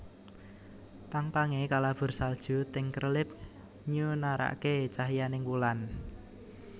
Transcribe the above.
Pang pange kalabur salju ting krelip nyunarake cahyaning wulan